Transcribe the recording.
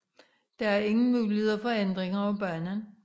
Der er ingen muligheder for ændringer af banen